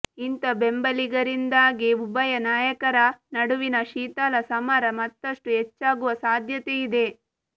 ಇಂಥ ಬೆಂಬಲಿಗರಿಂದಾಗಿ ಉಭಯ ನಾಯಕರ ನಡುವಿನ ಶೀತಲ ಸಮರ ಮತ್ತಷ್ಟು ಹೆಚ್ಚಾಗುವ ಸಾಧ್ಯತೆ ಇದೆ